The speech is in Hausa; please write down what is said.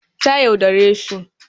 Ta yaudare shi